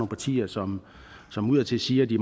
partier som som udadtil siger at de